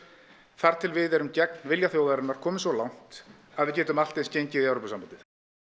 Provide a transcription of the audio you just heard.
þar til við erum gegn vilja þjóðarinnar komið svo langt að við getum allt eins gengið í Evrópusambandið